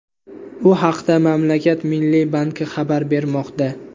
Bu haqda mamlakat Milliy banki xabar bermoqda .